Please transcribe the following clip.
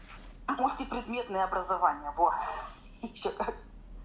пусть и предметное образование во ещё как